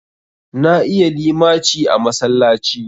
Na iya limaci a masallaci.